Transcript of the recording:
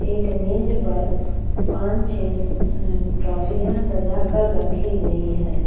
एक मेज़ पर पांन छः ट्रॉफ्रियाँ सजा कर रखी गई हैं।